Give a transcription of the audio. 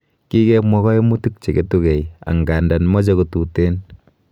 Kikemwa koimutik cheketukei angandan moche kotuten.